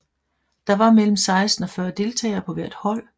Der var mellem 16 og 40 deltagere på hvert hold